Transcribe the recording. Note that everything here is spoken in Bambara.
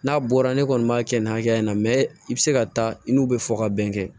N'a bɔra ne kɔni b'a kɛ nin hakɛya in na mɛ i bɛ se ka taa i n'u bɛ fɔ ka bɛn kɛ